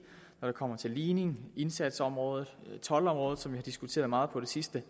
når det kommer til ligning indsatsområdet og toldområdet som vi har diskuteret meget på det sidste